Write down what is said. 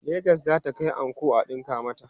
legas zata Kai anko a ɗinka mata